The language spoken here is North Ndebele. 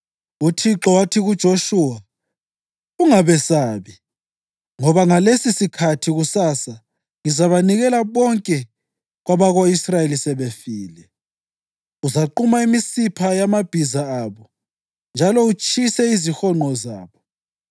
UThixo wathi kuJoshuwa, “Ungabesabi, ngoba ngalesisikhathi kusasa ngizabanikela bonke kwabako-Israyeli sebefile. Uzaquma imisipha yamabhiza abo njalo utshise izihonqo zabo.”